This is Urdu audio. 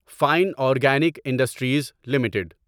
fine organic industries limited